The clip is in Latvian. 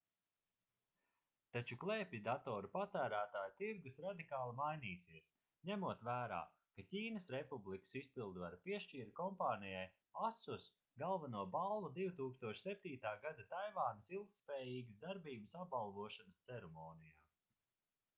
taču klēpjdatoru patērētāju tirgus radikāli mainīsies ņemot vērā ka ķīnas republikas izpildvara piešķīra kompānijai asus galveno balvu 2007. gada taivānas ilgtspējīgas darbības apbalvošanas ceremonijā